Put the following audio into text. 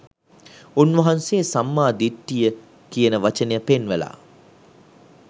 උන්වහන්සේ සම්මා දිට්ඨිය කියන වචනේ පෙන්වලා